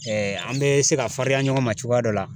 an bɛ se ka farinya ɲɔgɔn ma cogoya dɔ la.